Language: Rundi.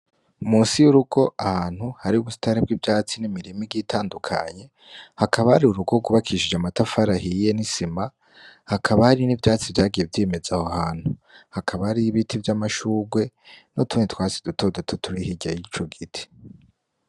Musi y'urugo ahantu hari gusitaribwo ivyatsi n'imirimi gitandukanye hakabari urugo gubakishije amatafarahiye n'isima hakabari n'ivyatsi vyagiye vyimeza aho hantu hakabari ibiti vy'amashurwe no tune twasi dutodoto turi higya yico giti.